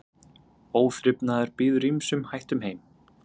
Óþrifnaður býður ýmsum hættum heim.